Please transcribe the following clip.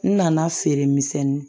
N nana feeremisɛnnin